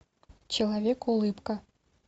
человек улыбка